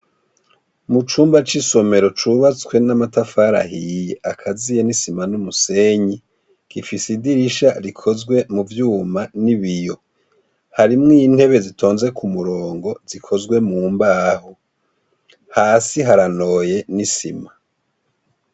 Mu cumba c'isomero cubatswe n'amatafari ahiye, akaziye n'isima n'umusenyi, gifise idirisha rikozwe mu vyuma n'ibiyo. Harimwo intebe zitonze ku murongo, zikozwe mu mbaho. Hasi haranoye n'isima.